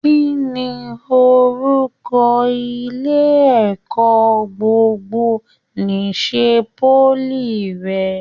Kínní orúkọ ilé ẹ̀kọ́ gbogbo n'isè poly rẹ?